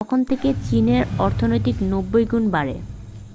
তখন থেকে চীনের অর্থনীতি 90 গুণ বাড়ে